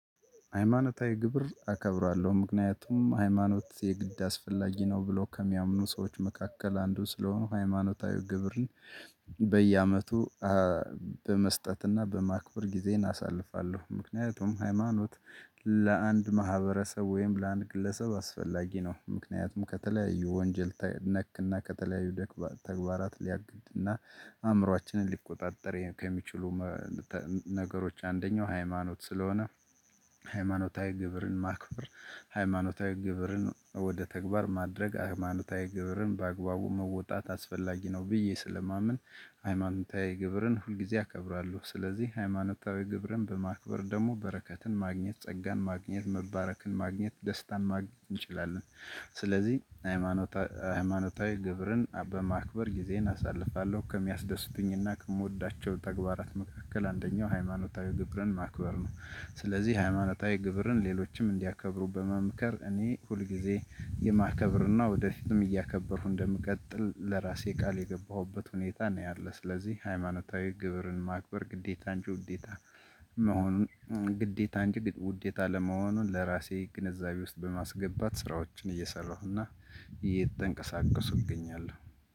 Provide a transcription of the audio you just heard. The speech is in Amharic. ሃይማኖታዊ ግብር አከብራለሁ ምክንያቱም ሃይማኖት የግድ አስፈላጊ ነው ብለው ከሚያምኑ ሰዎች መካከል አንዱ ስለሆንኩ ሃይማኖታዊ ግብርን በየአመቱ በመስጠትና በማክበር ጊዜን እናሳልፋለሁ። ምክንያቱም ሃይማኖት ለአንድ ማህበረሰብ ወይም ለአንድ ግለሰብ አስፈላጊ ነው። ምክንያቱም ከተለያዩ ወንጀል ነክና ከተለያዩ ተግባራት ሊያግድና አእምሮአችንን ሊቆጣጠር ከሚችሉ ነገሮች አንደኛው ሃይማኖት ስለሆነ። ሃይማኖታዊ ግብርን ማክበር ሃይማኖታዊ ግብርን ወደ ተግባር ማድረግ ሃይማኖታዊ ግብርን በአግባቡ መወጣት አስፈላጊ ነው። ብዬ ስለማምን ሃይማኖታዊ ግብርን ሁልጊዜ አከብራለሁ። ስለዚህ ሃይማኖታዊ ግብርን በማክበር ደግሞ በረከትን ማግኘት ጸጋን ማግኘት መባረክን ማግኘት ደስታን ማግኘት እንችላለን። ስለዚህ ሃይማኖታዊ ግብርን በማክበር ጊዜን አሳልፋለሁ። ከሚያስደስቱኝና ከምወዳቸው ተግባራት መካከል አንደኛው ሃይማኖታዊ ግብርን ማክበር ነው። ስለዚህ ሃይማኖታዊ ግብርን ሌሎችም እንዲያከብሩ በመምከር እኔ ሁልጊዜ የማከብርና ወደ ፊትም እያከበርኩ እንደምቀጥል ለራሴ ቃል የገባሁበት ሁኔታ ነው። ያለ ስለዚህ ሃይማኖታዊ ግብርን ማክበር ግዴታ እንጂ ውዴታ መሆኑን ግዴታ እንጂ ግድ ውዴታ አለመሆኑን ለራሴ ግንዛቤ ውስጥ በማስገባት ስራዎችን እየሰራሁና እየተንቀሳቀስኩ እገኛለሁ።